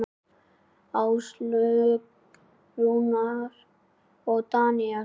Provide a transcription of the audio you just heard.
Áslaug, Rúnar og Daníel.